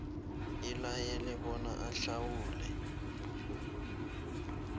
ilayele bona ahlawule